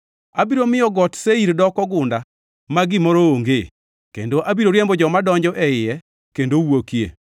Abiro miyo Got Seir doko gunda ma gimoro onge, kendo abiro riembo joma donjo e iye kendo wuokie.